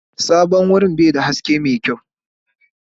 Sabon wurin ba shi da haske mai kyau.